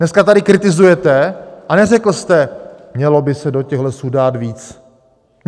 Dneska tady kritizujete, a neřekl jste: mělo by se do těch lesů dát víc.